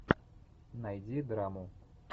найди драму